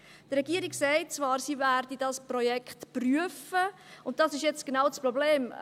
Die Regierung sagt zwar, er werde dieses Projekt prüfen, und das ist jetzt genau das Problem.